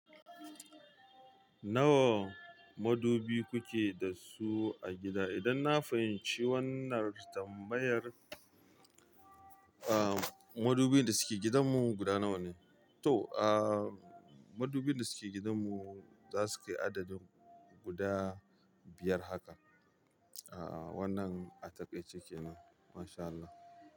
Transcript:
Nawa madubi kuke da su a gida? Idan na fahimci wannan tambayar, aa madubin da suke gidanmu guda nawa ne? To, aa madubin da suke gidanmu za su kai adadin guda biyar haka. Aa wannan a takaice kenan. Masha Allah.